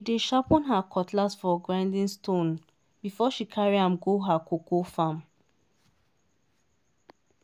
dey sharpen her cutlass for grinding stone before she carry am go her cocoa farm.